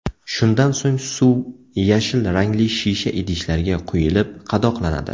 Shundan so‘ng suv yashil rangli shisha idishlarga quyilib qadoqlanadi.